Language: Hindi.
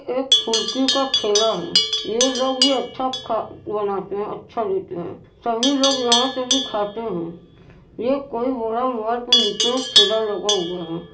एक फुल्की का ठेला है। ये लोग भी अच्छा बनाते हैं। अच्छा देते हैं तभी लोग यहाँ से भी खाते हैं ये कोई बड़ा महल के नीचे ठेला लगा हुआ है।